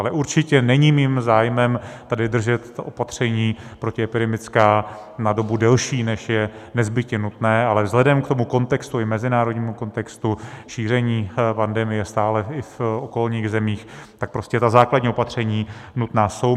Ale určitě není mým zájmem tady držet opatření protiepidemická na dobu delší, než je nezbytně nutné, ale vzhledem k tomu kontextu, i mezinárodnímu kontextu šíření pandemie stále i v okolních zemích, tak prostě ta základní opatření nutná jsou.